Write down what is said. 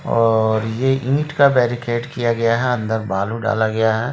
--और ये ईट का बैरिकेड किया गया है अंदर बालू डाला गया है।